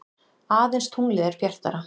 Aðeins tunglið er bjartara.